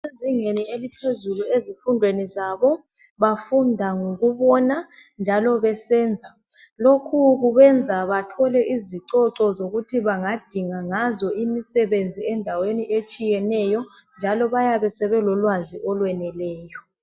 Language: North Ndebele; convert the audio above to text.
Abasezingeni eliphezulu ezifundweni zabo. Bafunda ngokubona njalo besenza. Lokhu kubenza bathole izicoco zokuthi bangadinga ngazo imisebenzi endaweni etshiyeneyo, njalo bayabe sebelolwazi olweneleyo.